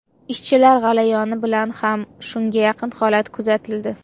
Ishchilar g‘alayoni bilan ham shunga yaqin holat kuzatildi.